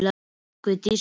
Guðdís, spilaðu lag.